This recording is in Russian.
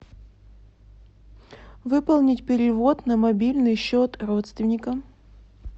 выполнить перевод на мобильный счет родственника